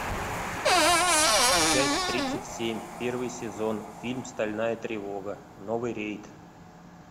часть тридцать семь первый сезон фильм стальная тревога новый рейд